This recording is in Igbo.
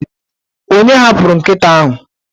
onye hapụrụ nkịta ahụ?